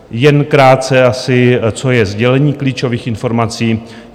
Jen krátce asi, co je sdělení klíčových informací.